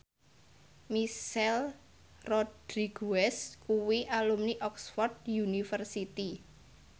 Michelle Rodriguez kuwi alumni Oxford university